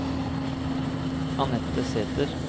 Anette Sæter